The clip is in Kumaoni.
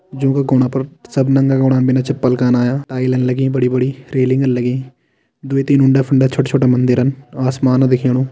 जो का गोणा पर सब नंगा गोणा बिन चपल क ना आया टाइलन लगीं बड़ी बड़ी रैलिंग लगी दुई तीन उंडा फुंडा छोट छोट मंदिरन आसमान दिखेणु।